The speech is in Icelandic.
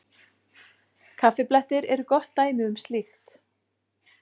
Kaffiblettir eru gott dæmi um slíkt.